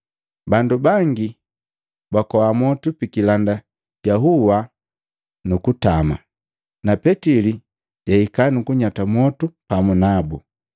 Bandu bangi bakoa mwotu pikilanda ja hua nukutama na Petili jahika kunyata mwotu pamu nabu.